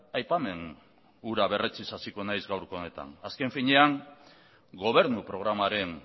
aipamen hura berretsiz hasiko naiz gaurko honetan azken finean gobernu programaren